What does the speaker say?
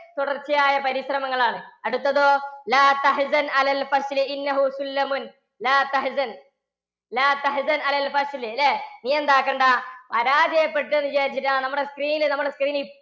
തുടർച്ചയായ പരിശ്രമങ്ങളാണ്. അടുത്തതോ നീയെന്താക്കണ്ടാ? പരാജയപ്പെട്ട് എന്ന് വിചാരിച്ചിട്ട് ആ നമ്മുടെ screen നമ്മുടെ screen ൽ